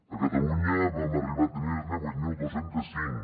a catalunya vam arribar a tenir ne vuit mil dos cents i cinc